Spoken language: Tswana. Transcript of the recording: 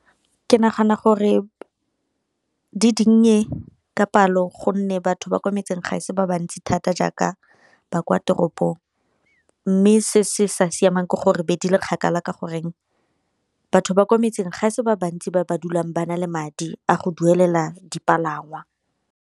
Ke nagana gore di dinnye ka palo gonne batho ba kwa metseng ga e se ba bantsi thata jaaka ba kwa toropong, mme se se sa siamang ke gore be di le kgakala ka gore batho ba kwa metseng ga e se ba bantsi ba ba dulang ba na le madi a go duelela dipalangwa.